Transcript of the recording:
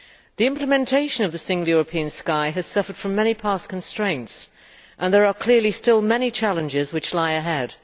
The implementation of the Single European Sky has suffered from many past constraints and there are clearly still many challenges which lie ahead.